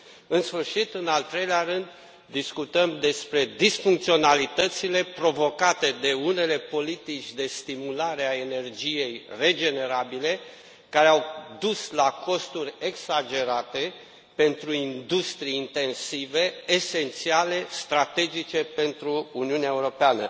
În sfârșit, în al treilea rând, discutăm despre disfuncționalitățile provocate de unele politici de stimulare a energiei regenerabile, care au dus la costuri exagerate pentru industrii intensive, esențiale, strategice pentru Uniunea Europeană.